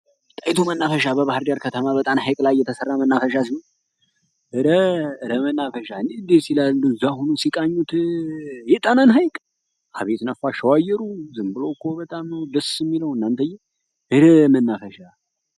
ጣይቱ መናፈሻ በባህር ዳር ከተማ በጣና ሀይቅ ላይ የተሰራ መናፈሻ ሲሆን ኧረ መናፈሻ ሲቃኝ እንዴት ድል ይላል ነፋሻው አየሩ ድሮኮ በጣም ደስ ነበር የሚለው እናንተ መናፈሻ!!!